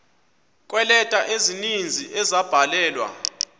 kweeleta ezininzi ezabhalelwa